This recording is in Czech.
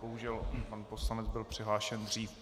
Bohužel pan poslanec byl přihlášen dřív.